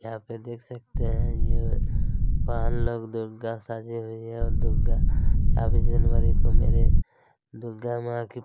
यहाँ पे देख सकते है यह बहन लोग दुर्गा सजे हुए ओर दुर्गा काफी दिन बाद को मेरे दुर्गा मा की--